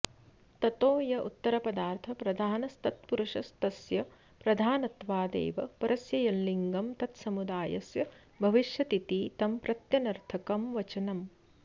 ततो य उत्तरपदार्थप्रधानस्तत्पुरुषस्तस्य प्रधानत्वादेव परस्य यल्लिङगं तत्समुदायस्य भविष्यतीति तं प्रत्यनर्थकं वचनम्